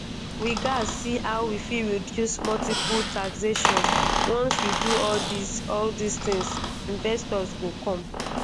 we gatz see how we fit reduce multiple taxation once we do all dis all dis tins investors go come